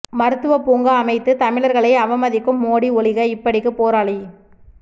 மருத்துவ பூங்கா அமைத்து தமிழர்களை அவமதிக்கும் மோடி ஒழிக இப்படிக்கு போராளி